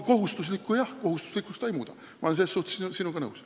Kohustuslikuks eelnõu seda jah ei muuda, selles suhtes olen ma sinuga nõus.